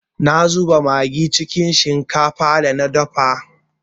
Na zuba magi cikin shinkafar da na dafa.